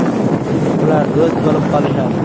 Ular do‘st bo‘lib qolishadi”.